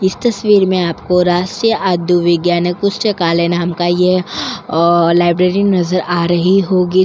इस तस्वीर में आपको राष्ट्रीय आधु विज्ञान कुष्ट काल नाम का ये लाइब्रेरी नज़र आ रही होगी।